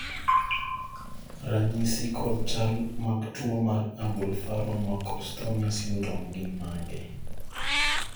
ranyisi kod chal mag tuo mar Ablepharon macrostomia syndrome gin mage?